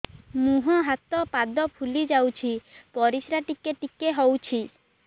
ମୁହଁ ହାତ ପାଦ ଫୁଲି ଯାଉଛି ପରିସ୍ରା ଟିକେ ଟିକେ ହଉଛି